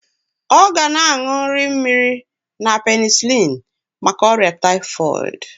Ọ ga na-aṅụ nri mmiri na penisilin maka ọrịa taịfọịdị